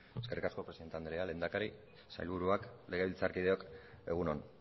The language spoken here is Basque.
eskerrik asko presidente andrea lehendakari sailburuak legebiltzarkideok egun on